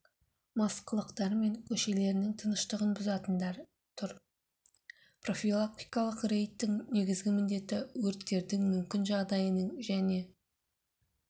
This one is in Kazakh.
мас қылықтарымен көршілерінің тыныштығын бұзатындар тұр профилактикалық рейдтің негізгі міндеті өрттердің мүмкін жағдайының және